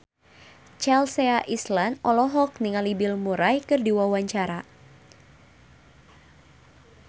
Chelsea Islan olohok ningali Bill Murray keur diwawancara